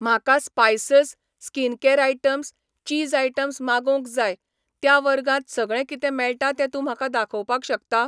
म्हाका spices, skincare items , cheese items मागोवंक जाय, त्या वर्गांत सगळें कितें मेळटा तें तूं म्हाका दाखोवपाक शकता?